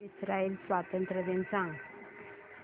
Israel स्वातंत्र्य दिन सांग